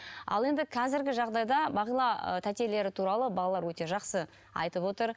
ал енді қазіргі жағдайда бағила ы тәтелері туралы балалар өте жақсы айтып отыр